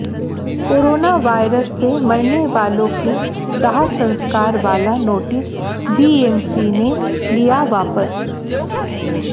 corona virus से मरनेवालों के दाह संस्कार वाला नोटिस बीएमसी ने लिया वापस